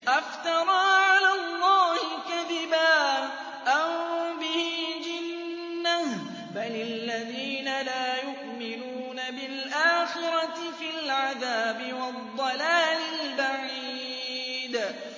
أَفْتَرَىٰ عَلَى اللَّهِ كَذِبًا أَم بِهِ جِنَّةٌ ۗ بَلِ الَّذِينَ لَا يُؤْمِنُونَ بِالْآخِرَةِ فِي الْعَذَابِ وَالضَّلَالِ الْبَعِيدِ